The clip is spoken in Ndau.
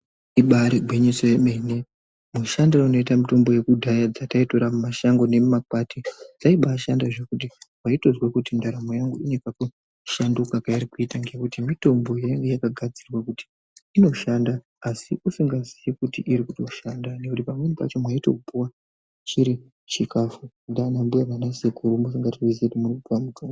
Ibari gwinyiso yemene mushandire unoite mutombo yekudhaya dzataitora mumashango nemumakwati dzaibashanda kwekuti waitozwa kuti ndaramo yangu inekakushanduka kairikuita. Ngekuti mitombo yainge yakagadzirwa kuti inoshandà asi usikasizii kuti iri kutoshanda nekuti pamweni pacho mwaitopuwa chiri chikafu ndiana mbuya nana sekuru musikatozii kuti muri kupuwa mutombo.